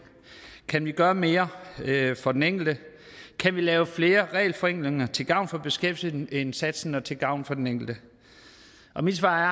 kan vi gøre mere for den enkelte kan vi lave flere regelforenklinger til gavn for beskæftigelsesindsatsen og til gavn for den enkelte mit svar